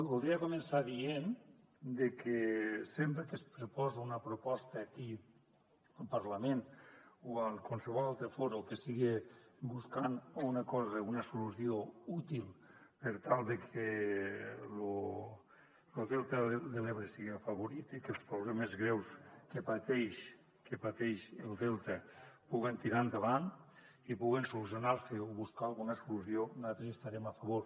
voldria començar dient que sempre que es proposa una proposta aquí al parlament o en qualsevol altre fòrum que siga buscant una cosa una solució útil per tal que lo delta de l’ebre siga afavorit i que els problemes greus que pateix el delta no puguen tirar endavant i puguen solucionar se o buscar alguna solució nosaltres hi estarem a favor